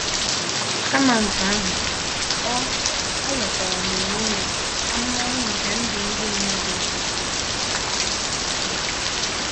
Kama nke ahụ, o, o nwetara n’onwe ya ahụmahụ nke ndụ ndị mmadụ nkịtị.